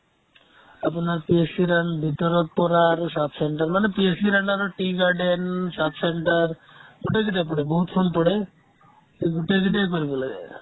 আপোনাৰ PSC ৰ কাৰণে ভিতৰত পৰা আৰু sub centre মানে PSC ৰ কাৰণে আপোনাৰ tea garden, sub centre গোটেই যেতিয়া পৰে বহুত form পৰে এই গোটেই কেইটাই কৰিব লাগে